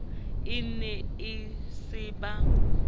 e ne e se ba